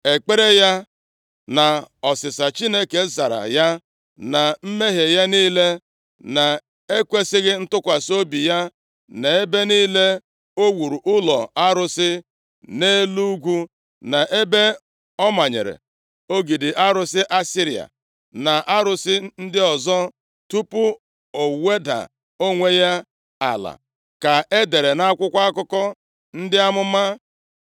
Ekpere ya, na ọsịsa Chineke zara ya, na mmehie ya niile, na-ekwesighị ntụkwasị obi ya, na ebe niile o wuru ụlọ arụsị nʼelu ugwu, na ebe ọ manyere ogidi arụsị Ashera, na arụsị ndị ọzọ, tupu o weda onwe ya ala, ka e dere nʼakwụkwọ akụkọ ndị amụma.